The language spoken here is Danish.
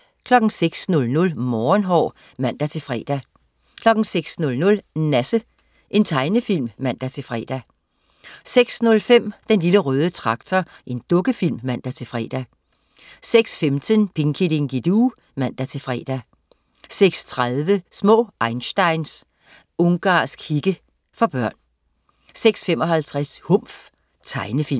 06.00 Morgenhår (man-fre) 06.00 Nasse. Tegnefilm (man-fre) 06.05 Den Lille Røde Traktor. Dukkefilm (man-fre) 06.15 Pinky Dinky Doo (man-fre) 06.30 Små einsteins. Ungarsk hikke. For børn 06.55 Humf. Tegnefilm